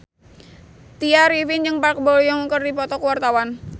Tya Arifin jeung Park Bo Yung keur dipoto ku wartawan